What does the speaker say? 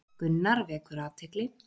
Gunnar vekur athygli